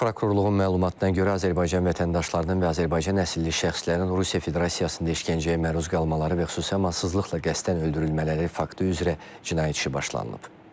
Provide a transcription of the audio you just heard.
Baş Prokurorluğun məlumatına görə Azərbaycan vətəndaşlarının və Azərbaycan əsilli şəxslərin Rusiya Federasiyasında işgəncəyə məruz qalmaları və xüsusi amansızlıqla qəsdən öldürülmələri faktı üzrə cinayət işi başlanılıb.